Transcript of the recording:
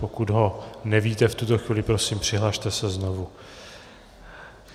Pokud ho nevíte v tuto chvíli, prosím, přihlaste se znovu.